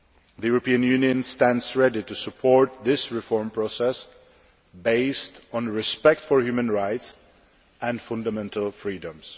met. The European Union stands ready to support this reform process based on respect for human rights and fundamental freedoms.